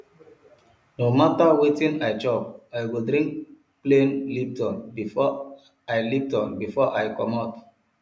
no mata wetin i chop i go drink plain lipton before i lipton before i comot